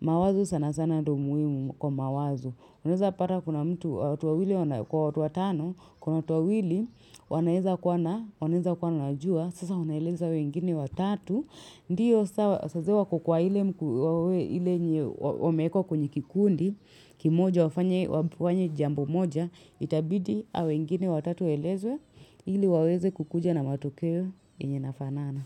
Mawazo sana sana ndo muimu kwa mawazo. Unaezapata kuna mtu, watu wawili kwa tuwatano, kuna watu wawili, wanaeza kuwa na, wanaeza kuwa wanajuwa, sasa wanaeleza hao wengine watatu. Ndiyo saa zile wako kwa ile mkua, ile yenye, wameekwa kwenye kikundi, kimoja wafany, wapu wafanye jambo moja, itabidi hao wengine watatu waelezwe, ili waweze kukuja na matokeo yenye inafanana.